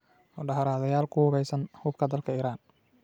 Mudaaharaadayaal ku hubaysan hubka dalka Iran